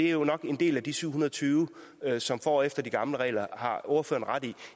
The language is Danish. jo nok en del af de syv hundrede og tyve som får efter de gamle regler har ordføreren ret i